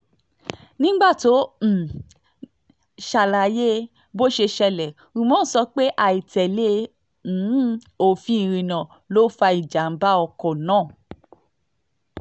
nígbà tó ń um ṣàlàyé bó ṣe ṣẹlẹ̀ umar sọ pé àìtẹ́lẹ̀ um òfin ìrìnnà ló fa ìjàm̀bá ọkọ̀ náà